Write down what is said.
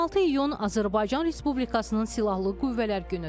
26 iyun Azərbaycan Respublikasının Silahlı Qüvvələr Günüdür.